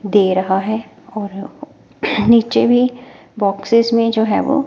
दे रहा है और नीचे भी बॉक्सेस में जो है वो--